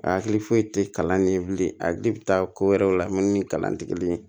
A hakili foyi tɛ kalan ne ye bilen a di bɛ taa ko wɛrɛw la minnu ni kalantigi ye